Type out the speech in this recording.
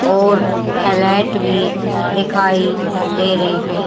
और हाईलाइट भी दिखाई दे रहे हैं।